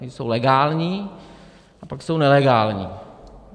Ty jsou legální a pak jsou nelegální.